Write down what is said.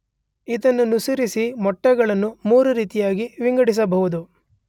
ಇದನ್ನನುಸರಿಸಿ ಮೊಟ್ಟೆಗಳನ್ನು ಮೂರು ರೀತಿಯಾಗಿ ವಿಂಗಡಿಸಬಹುದು.